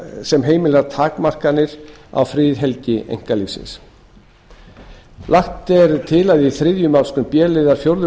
sem heimilar takmarkanir á friðhelgi einkalífs þriðja lagt er til að í þriðju málsgrein b liðar fjórðu